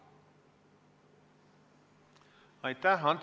Aitäh!